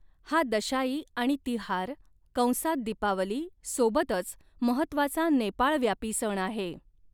हा दशाई आणि तिहार कंसात दीपावली सोबतच महत्त्वाचा नेपाळ व्यापी सण आहे.